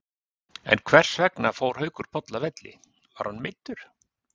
En hversvegna fór Haukur Páll af velli, var hann meiddur?